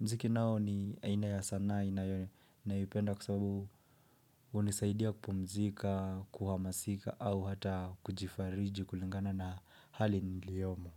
Mziki nao ni inayasana inayopenda kusabu unisaidia kupumzika, kuhamasika au hata kujifariji kulingana na hali niliyomo.